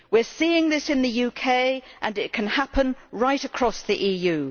We are seeing this in the UK, and it can happen right across the EU.